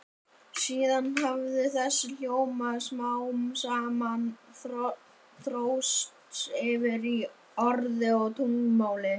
Síðan hafi þessi hljóð smám saman þróast yfir í orð og tungumál.